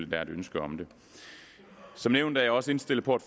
der er et ønske om det som nævnt er jeg også indstillet på at